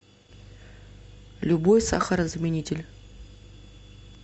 любой сахарозаменитель